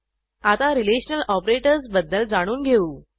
आता relational operators बद्दल जाणून घेऊ